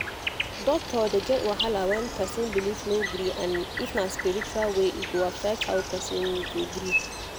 doctor dey get wahala when person belief no gree and if na spiritual way e go affect how person go gree